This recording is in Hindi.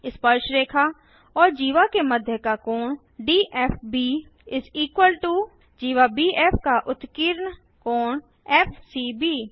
स्पर्शरेखा और जीवा के मध्य का कोण डीएफबी जीवा बीएफ का उत्कीर्ण कोण एफसीबी